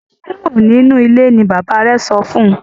Kúrò nínú ilé! ní bàbá rẹ sọfún.